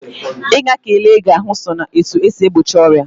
Ị ga ka ele gị ahụ sọ na etu e si egbochi ọrịa.